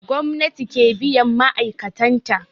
Gwamnati ke biyan ma'aikatan ta